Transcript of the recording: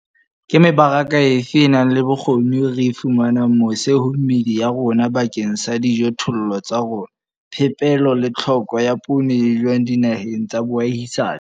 Ke mebaraka efe e nang le bokgoni eo re e fumanang mose ho meedi ya rona bakeng sa dijothollo tsa rona? Phepelo le Tlhoko ya poone e jwang dinaheng tsa boahisani?